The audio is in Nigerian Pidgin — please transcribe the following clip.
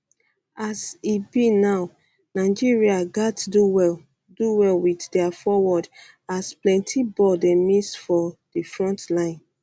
a s e be now nigeria gatz do well do well wit dia forward as plenti ball dey miss for um di frontline